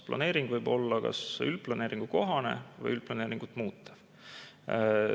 Planeering võib olla kas üldplaneeringukohane või üldplaneeringut muutev.